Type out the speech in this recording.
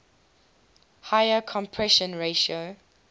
higher compression ratio